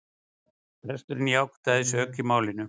Presturinn játaði sök í málinu